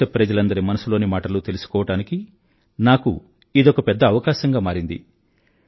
దేశప్రజలందరి మనసులోని మాటలూ తెలుసుకోవడానికి నాకు ఇదొక పెద్ద అవకాశం గా మారింది